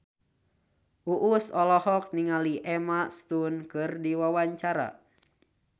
Uus olohok ningali Emma Stone keur diwawancara